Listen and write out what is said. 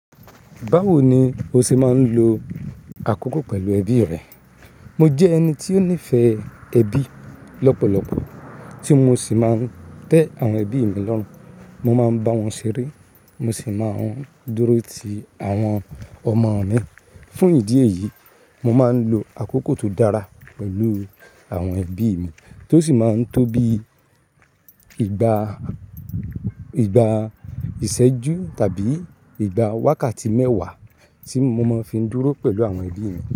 Báwo ni o ṣe máa ń lo àkókò pẹ̀lú ẹbí rẹ? Mo jẹ́ ẹni tí ó nífẹ̀ẹ́ ẹbí lọ́pọ̀lọpọ̀, tí mo sì máa ń tẹ́ àwọn ẹbí mi lọ́run. Mo máa ń bá wọn ṣeré, mo sì máa ń dúró ti àwọn ọmọ mi. Fún ìdí èyí, mo máa ń lo àkókò tó dára pẹ̀lú àwọn ẹbí mi tó sì máa ń tó bí ìgbà, ìgbà ìṣẹ́jú tàbí ìgbà wákàtí mẹ́wàá tí mo máa fi ń dúró pẹ̀lú àwọn ẹbí mi.